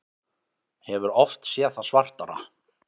Hefur oft séð það svartara